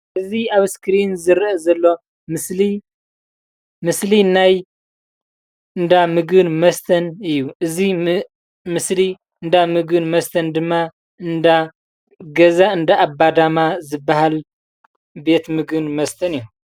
እዚ ኣብ ስክሪን ዝርአ ዘሎ ምስሊ ምስሊ ናይ እንዳ ምግብን መስተን እዩ፡፡ እዚ ምስሊ እንዳ ምግብን መስተን ድማ ገዛ እንዳ ኣባዳማ ዝበሃል ቤት ምግብን መስተን እዩ፡፡